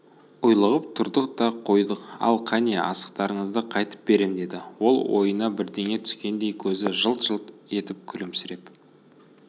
ұйлығып тұрдық та қойдық ал кәне асықтарыңды қайтып берем деді ол ойына бірдеңе түскендей көзі жылт-жылт етіп күлімсіреп